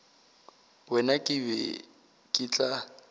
wena ke be ke tla